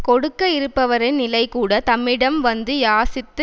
கொடுக்க இருப்பவரின் நிலைகூட தம்மிடம் வந்து யாசித்து